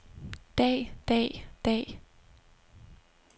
dag dag dag